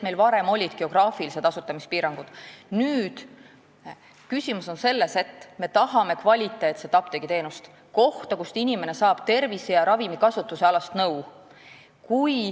Varem olid geograafilised asutamispiirangud, nüüd on küsimus selles, et me tahame kvaliteetset apteegiteenust ja kohta, kust inimene saab tervise- ja ravimi kasutamise nõu.